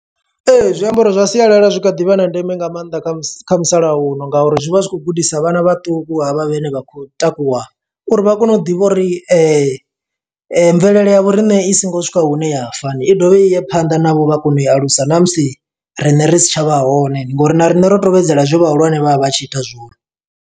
Zwiambaro zwa sialala zwi kha ḓi vha na ndeme nga maanḓa kha mus, kha musalauno nga uri zwi vha zwi khou gudisa vhana vhaṱuku havha vhene vha khou takuwa, uri vha kone u ḓivha uri mvelele ya vho riṋe i songo swika hune ya fa ni. I dovhe i ye phanḓa navho vha kone u i alusa, ṋa musi riṋe ri si tsha vha hone. Ndi ngo uri na riṋe ro tevhedzela zwe vhahulwane vha vha vha tshi ita zwone.